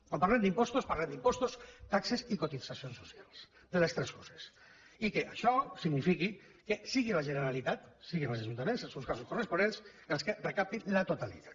quan parlem d’impostos parlem d’impostos taxes i cotitzacions socials de les tres coses i que això signifiqui que sigui la generalitat siguin els ajuntaments en els seus casos corresponents els que en recaptin la totalitat